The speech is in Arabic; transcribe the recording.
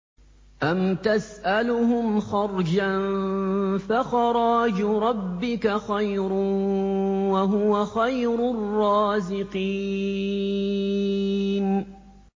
أَمْ تَسْأَلُهُمْ خَرْجًا فَخَرَاجُ رَبِّكَ خَيْرٌ ۖ وَهُوَ خَيْرُ الرَّازِقِينَ